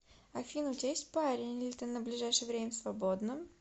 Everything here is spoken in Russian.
афина у тебя есть парень или ты на ближайшее время свободна